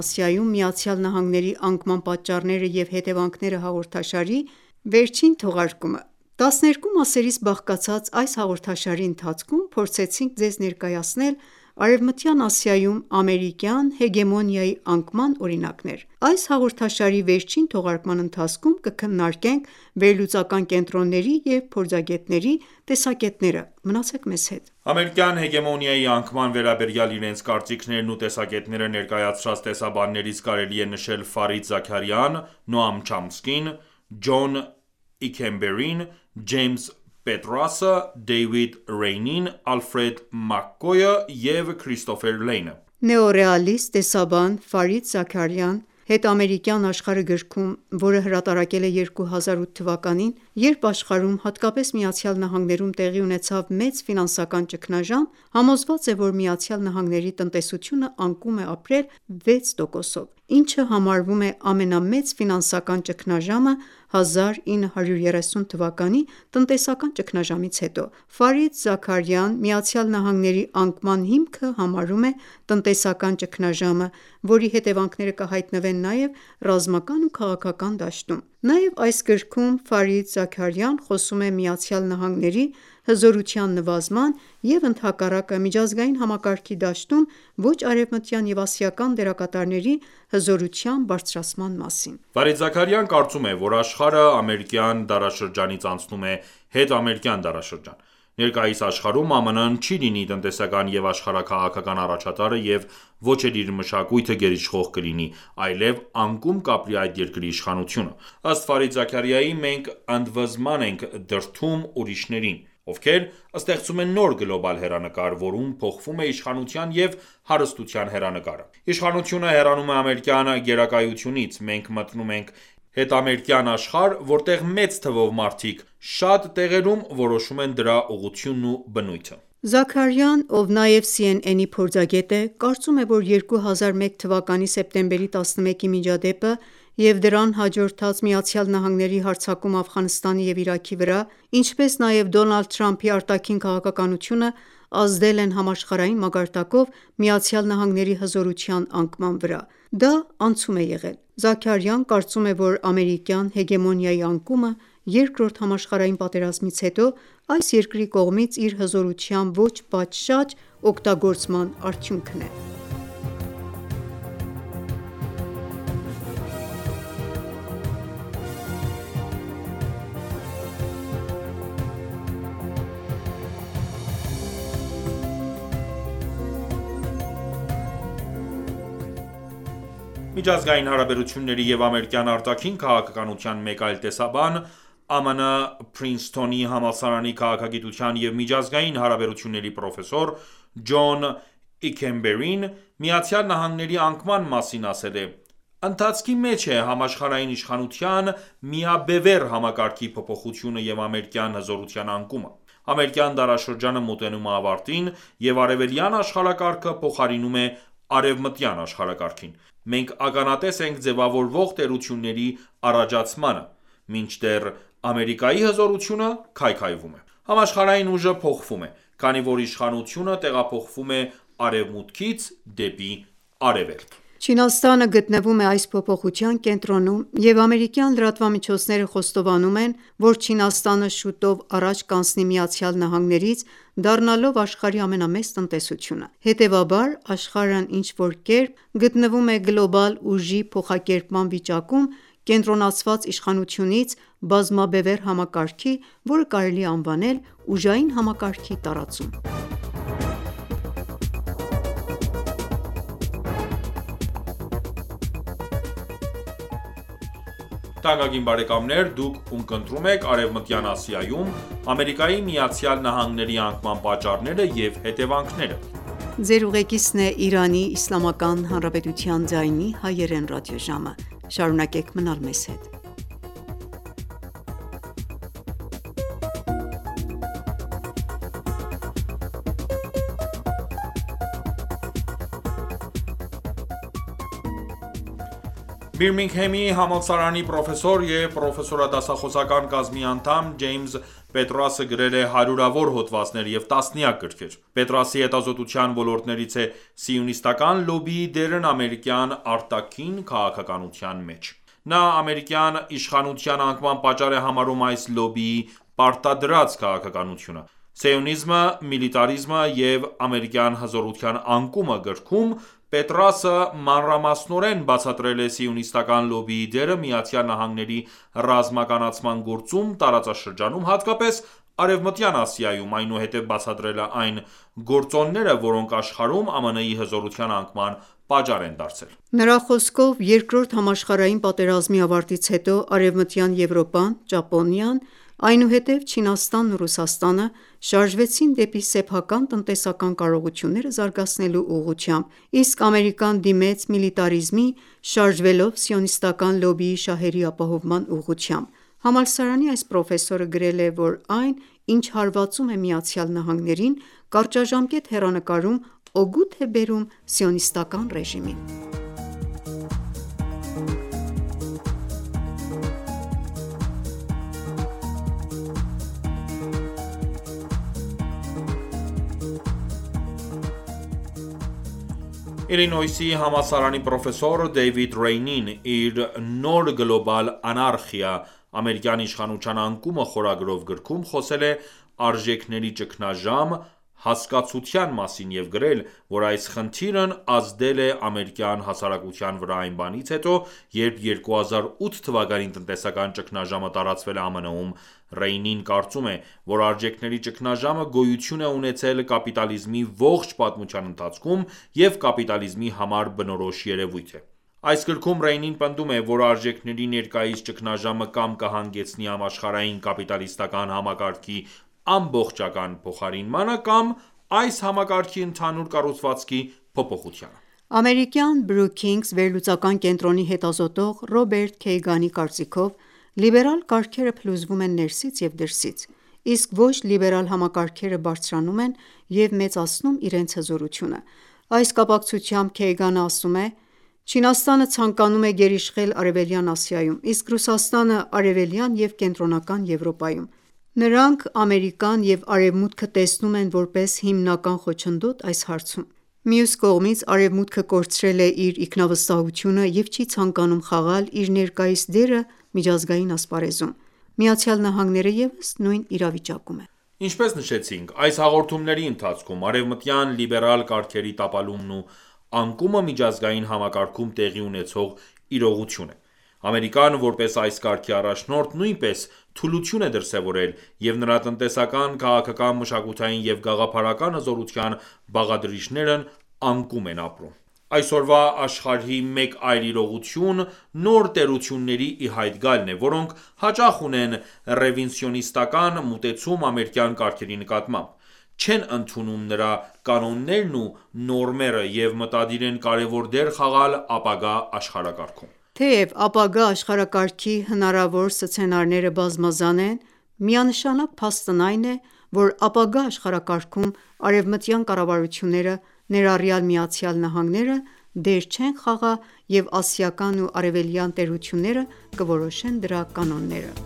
Ասիայում ԱՄՆ-ի անկման պատճառները և հետևանքները» հաղորդաշարի վերջին թողարկումը: 12 մասերից բաղկացած այս հաղորդաշարի ընթացքում փորձեցինք ձեզ ներկայացնել Արեւմտյան Ասիայում ամերիկյան հեգեմոնիայի անկման օրինակներ։ Այս հաղորդաշարի վերջին թողարկման ընթացքում կքննարկենք վերլուծական կենտրոնների և փորձագետների տեսակետները: Ամերիկյան հեգեմոնիայի անկման վերաբերյալ իրենց կարծիքներն ու տեսակետները ներկայացրած տեսաբաններից կարելի է նշել Ֆարիդ Զաքարիան, Նոամ Չոմսկին, Ջոն Իքենբերրին, Ջեյմս Պետրասը, Դեյվիդ Ռեյնին, Ալֆրեդ Մակքոյը և Քրիստոֆեր Լեյնը։ Նեոռեալիստ տեսաբան՝ Ֆարիդ Զաքարիան «Հետամերիկյան աշխարհը» գրքում, որը հրատարակել է 2008 թվականին, երբ աշխարհում, հատկապես Միացյալ Նահանգներում. տեղի ունեցավ մեծ ֆինանսական ճգնաժամ, համոզված է, որ ԱՄՆ տնտեսությունը անկում է ապրել 6%-ով, ինչը համարվում է ամենամեծ ֆինանսական ճգնաժամը 1930 թվականի տնտեսական ճգնաժամից հետո։ Զաքարիան ԱՄՆ-ի անկման հիմքը համարում է տնտեսական ճգնաժամը, որի հետեւանքները կհայտնվեն նաեւ ռազմական ու քաղաքական դաշտում։ Նաև այս գրքում Ֆարիդ Զաքարիան խոսում է ԱՄՆ-ի հզորության նվազման և, ընդհակառակը, միջազգային համակարգի դաշտում ոչ արևմտյան և ասիական դերակատարների հզորության բարձրացման մասին։ Ֆարիդ Զաքարիան կարծում է, որ աշխարհը ամերիկյան դարաշրջանից անցնում է հետամերիկյան դարաշրջան։ Ներկայիս աշխարհում, ԱՄՆ-ը չի լինի տնտեսական և աշխարհաքաղաքական առաջատարը, և ոչ էլ իր մշակույթը գերիշխող կլինի, այլև անկում կապրի այդ երկրի իշխանությունը: Ըստ Ֆարիդ Զաքարիայի՝ մենք «ընդվզման ենք դրդում ուրիշներին», ովքեր ստեղծում են նոր գլոբալ հեռանկար, որում փոխվում է իշխանության և հարստության հեռանկարը։ Իշխանությունը հեռանում է ամերիկյան գերակայությունից. Մենք մտնում ենք հետամերիկյան աշխարհ, որտեղ մեծ թվով մարդիկ շատ տեղերում որոշում են դրա ուղղությունն ու բնույթը: Զաքարիան, ով նաև CNN-ի փորձագետ է, կարծում է, որ 2001 թվականի սեպտեմբերի 11-ի միջադեպը և դրան հաջորդած ԱՄՆ հարձակումը Աֆղանստանի և Իրաքի վրա, ինչպես նաև Դոնալդ Թրամփի արտաքին քաղաքականությունը ազդել են համաշխարհային մակարդակով ԱՄՆ-ի հզորության անկման վրա։ Դա անցում է եղել: Զաքարիան կարծում է, որ ամերիկյան հեգեմոնիայի անկումը Երկրորդ համաշխարհային պատերազմից հետո այս երկրի կողմից իր հզորության ոչ պատշաճ օգտագործման արդյունքն է։ Միջազգային հարաբերությունների և ամերիկյան արտաքին քաղաքականության մեկ այլ տեսաբան, ԱՄՆ Փրինսթոնի համալսարանի քաղաքագիտության և միջազգային հարաբերությունների պրոֆեսոր Ջոն Իքենբերին ԱՄՆ-ի անկման մասին ասել է.«Ընթացքի մեջ է համաշխարհային իշխանության, միաբևեռ համակարգի փոփոխությունը և ամերիկյան հզորության անկումը։ Ամերիկյան դարաշրջանը մոտենում է ավարտին, և արևելյան աշխարհակարգը փոխարինում է արևմտյան աշխարհակարգին։ Մենք ականատես ենք ձևավորվող տերությունների առաջացմանը. Մինչդեռ Ամերիկայի հզորությունը քայքայվում է։ Համաշխարհային ուժը փոխվում է, քանի որ իշխանությունը տեղափոխվում է Արևմուտքից դեպի Արևելք: Չինաստանը գտնվում է այս փոփոխության կենտրոնում, և ամերիկյան լրատվամիջոցները խոստովանում են, որ Չինաստանը շուտով առաջ կանցնի ԱՄՆ-ից՝ դառնալով աշխարհի ամենամեծ տնտեսությունը: Հետևաբար, աշխարհն ինչ-որ կերպ գտնվում է գլոբալ ուժի փոխակերպման վիճակում՝ կենտրոնացված իշխանությունից բազմաբևեռ համակարգի, որը կարելի է անվանել «ուժային համակարգի տարածում»։ Բիրմինգհեմի համալսարանի պրոֆեսոր և պրոֆեսորադասախոսական կազմի անդամ Ջեյմս Պետրասը գրել է հարյուրավոր հոդվածներ և տասնյակ գրքեր։ Պետրասի հետազոտության ոլորտներից է սիոնիստական լոբբիի դերն ամերիկյան արտաքին քաղաքականության մեջ։ Նա ամերիկյան իշխանության անկման պատճառ է համարում այս լոբբիի պարտադրած քաղաքականությունը։ «Սիոնիզմը, միլիտարիզմը և ամերիկյան հզորության անկումը» գրքում Պետրասը մանրամասնորեն բացատրել է սիոնիստական լոբբիի դերը Միացյալ Նահանգների ռազմականացման գործում տարածաշրջանում, հատկապես Արևմտյան Ասիայում, այնուհետև բացատրել այն գործոնները, որոնք աշխարհում ԱՄՆ-ի հզորության անկման պատճառ են դարձել: Նրա խոսքով, Երկրորդ համաշխարհային պատերազմի ավարտից հետո Արևմտյան Եվրոպան, Ճապոնիան, այնուհետև Չինաստանն ու Ռուսաստանը շարժվեցին դեպի սեփական տնտեսական կարողությունները զարգացնելու ուղղությամբ, իսկ Ամերիկան դիմեց միլիտարիզմի՝ շարժվելով սիոնիստական լոբբիի շահերի ապահովման ուղղությամբ։ Համալսարանի այս պրոֆեսորը գրել է, որ այն, ինչ հարվածում է ԱՄՆ-ին, կարճաժամկետ հեռանկարում, օգուտ է բերում Սիոնիստական ռեժիմին: Իլինոյսի համալսարանի պրոֆեսոր Դեյվիդ Ռեյնին իր «Նոր գլոբալ անարխիա. ամերիկյան իշխանության անկումը» գրքում խոսել է «Արժեքների ճգնաժամ» հասկացության մասին և գրել, որ այս խնդիրն ազդել է ամերիկյան հասարակության վրա այն բանից հետո, երբ 2008 թվականի տնտեսական ճգնաժամը տարածվել է ԱՄՆ-ում, Ռեյնին կարծում է, որ արժեքների ճգնաժամը գոյություն է ունեցել կապիտալիզմի ողջ պատմության ընթացքում և կապիտալիզմի համար բնորոշ երևույթ է։ Այս գրքում Ռեյնին պնդում է, որ արժեքների ներկայիս ճգնաժամը կամ կհանգեցնի համաշխարհային կապիտալիստական համակարգի ամբողջական փոխարինմանը կամ այս համակարգի ընդհանուր կառուցվածքի փոփոխությանը: Ամերիկյան Brookings վերլուծական կենտրոնի հետազոտող Ռոբերտ Քեյգանի կարծիքով, լիբերալ կարգերը փլուզվում են ներսից և դրսից, իսկ ոչ լիբերալ համակարգերը բարձրանում են և մեծացնում իրենց հզորությունը: Այս կապակցությամբ Քեյգանն ասում է. «Չինաստանը ցանկանում է գերիշխել Արևելյան Ասիայում, իսկ Ռուսաստանը՝ Արևելյան և Կենտրոնական Եվրոպայում։ Նրանք Ամերիկան և Արևմուտքը տեսնում են որպես հիմնական խոչընդոտ այս հարցում։ Մյուս կողմից, Արեւմուտքը կորցրել է իր ինքնավստահությունը եւ չի ցանկանում խաղալ իր ներկայիս դերը միջազգային ասպարեզում։ ԱՄՆ-ը ևս նույն իրավիճակում է: Ինչպես նշեցինք այս հաղորդումների ընթացքում, արեւմտյան լիբերալ կարգերի տապալումն ու անկումը միջազգային համակարգում տեղի ունեցող իրողություն է։ Ամերիկան, որպես այս կարգի առաջնորդ, նույնպես թուլություն է դրսևորել, և նրա տնտեսական, քաղաքական, մշակութային և գաղափարական հզորության բաղադրիչներն անկում են ապրում։ Այսօրվա աշխարհի մեկ այլ իրողություն նոր տերությունների ի հայտ գալն է, որոնք հաճախ ունեն ռեվիզիոնիստական մոտեցում ամերիկյան կարգերի նկատմամբ, չեն ընդունում նրա կանոններն ու նորմերը և մտադիր են կարևոր դեր խաղալ ապագա աշխարհակարգում։ Թեև ապագա աշխարհակարգի հնարավոր սցենարները բազմազան են, միանշանակ փաստն այն է, որ ապագա աշխարհակարգում արևմտյան կառավարությունները, ներառյալ ԱՄՆ-ն, դեր չեն խաղա, և ասիական և արևելյան տերությունները կորոշեն դրա կանոնները: